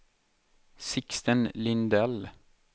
Sixten Lindell